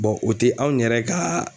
o te anw yɛrɛ kaa